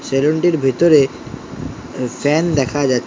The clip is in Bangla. সেলুনটির ভেতরে এ ফ্যান দেখা যাচ্--